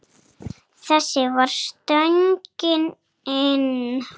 Þessi var stöngin inn.